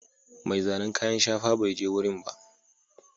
Mai zanen kayan shafa bai je wurin ba.